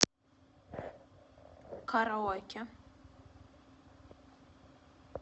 караоке